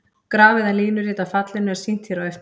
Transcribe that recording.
Graf eða línurit af fallinu er sýnt hér á eftir.